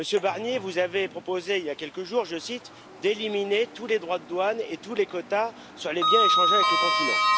Monsieur Barnier, vous avez proposé il y a quelques jours, je cite, d'éliminer tous les droits de douane et tous les quotas sur les biens échangés avec le continent.